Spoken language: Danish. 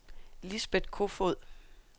Lisbet Kofoed